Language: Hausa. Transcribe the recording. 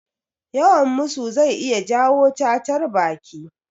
Yawan musu zai iya jawo cacar baki